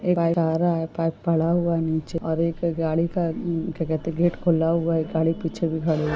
एक पाइप जा रहा है एक पाइप पड़ा हुआ है नीचे और एक गाड़ी का क्या कहते हैं गेट खुला हुआ है गाड़ी के पीछे भी खड़ी।